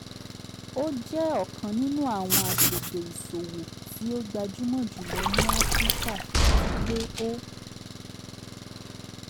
o jẹ ọkan ninu awọn agbegbe iṣowo ti o gbajumo julọ ni afirika ati pe o